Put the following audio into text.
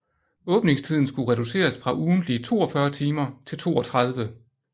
Åbningstiden skulle reduceres fra ugentlige 42 timer til 32